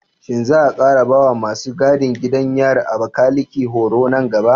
Shin za a ƙara ba wa masu gadin gidan yarin Abakaleke horo nan gaba?